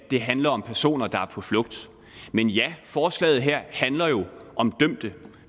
det handler om personer der er på flugt men ja forslaget her handler jo om dømte